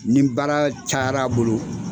Ni baara cayar'a bolo,